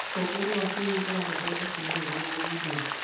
ũtongoria wa kĩrĩu ũrabatara tekinoronjĩ na ũthundũri.